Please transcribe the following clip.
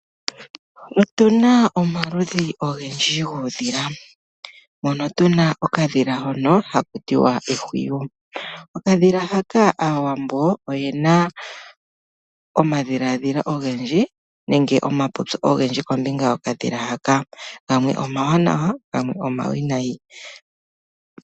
Otuna omaludhi ogendji guudhila, mono tu na okadhila hono ha ku tiwa ehwiyu. Okadhila ha, aawambo yena omipopyo odhindji kombinga yo ka dhila haka, gamwe omawanawa na gamwe omawinayi.